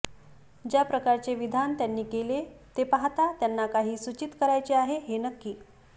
ज्या प्रकारचे विधान त्यांनी केले ते पाहता त्यांना काही सूचित करायचे आहे हे नक्की